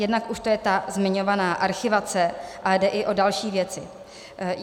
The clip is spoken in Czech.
Jednak už to je ta zmiňovaná archivace, ale jde i o další věci.